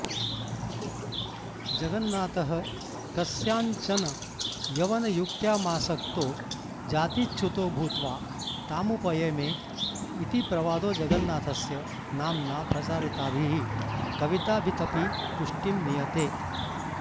जगन्नाथः कस्यांचन यवनयुक्त्यामासक्तो जातिच्युतो भूत्वा तामुपयेमे इति प्रवादो जगन्नाथस्य नाम्ना प्रचारिताभिः कविताभितपि पुष्टिं नीयते